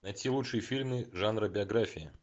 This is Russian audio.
найти лучшие фильмы жанра биография